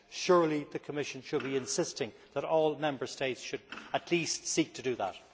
Surely the Commission should be insisting that all Member States should at least seek to do that.